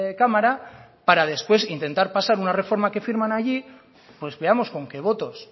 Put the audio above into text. cámara para después intentar pasar la reforma que firman allí pues veamos con qué votos